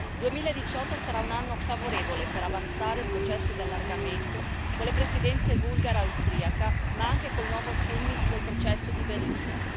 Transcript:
Il 2018 sarà un anno favorevole per avanzare il processo di allargamento con le Presidenze bulgara e austriaca, ma anche col nuovo summit del processo di Berlino.